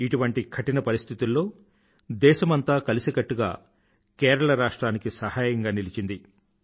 ఇటివంటి కఠిన పరిస్థితుల్లో దేశమంతా కలిసికట్టుగా కేరళ రాష్ట్రానికి సహాయంగా నిలిచింది